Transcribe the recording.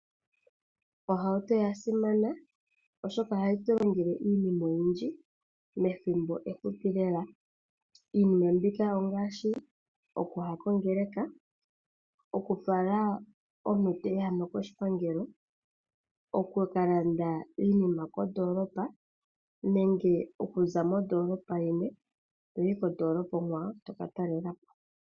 Ohauto oyasimana oshoka ohayi tu longele iinima oyindji methimbo efupi lela. Iinima mbika ongaashi okuya kongeleka , okufala omuntu teehamama koshipangelo, okukalanda iinima kondoolopa nenge okuza mondoolopa yeni toyi kondoolopa onkwawo toka taalelapo.